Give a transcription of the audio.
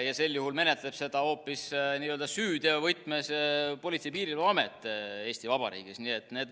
Ja sel juhul menetleb seda Eesti Vabariigis hoopis süüteovõtmes Politsei- ja Piirivalveamet.